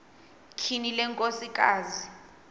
tyhini le nkosikazi